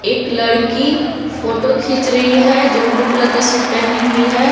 एक लड़की फोटो खींच रही है जो ब्लू कलर का शूट पहनी हुई है।